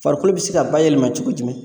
Farikolo bɛ se ka bayɛlɛma cogo jumɛn